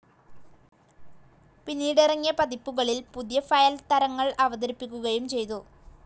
പിന്നീട് ഇറങ്ങിയ പതിപ്പുകളിൽ പുതിയ ഫയൽ തരങ്ങൾഅവതരിപ്പിക്കുകയും ചെയ്തു.